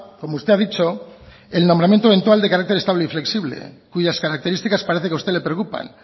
como usted ha dicho el nombramiento eventual de carácter estable y flexible cuyas características parece que a usted le preocupan